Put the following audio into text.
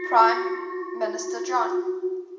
prime minister john